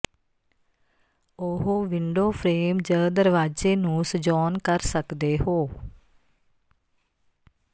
ਉਹ window frame ਜ ਦਰਵਾਜ਼ੇ ਨੂੰ ਸਜਾਉਣ ਕਰ ਸਕਦੇ ਹੋ